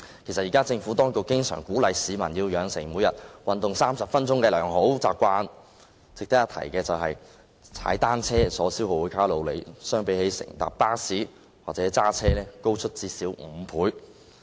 其實現時政府當局經常鼓勵市民培養每天運動30分鐘的良好習慣，值得一提的是，踏單車所消耗的卡路里較乘搭巴士或駕車高出最少5倍。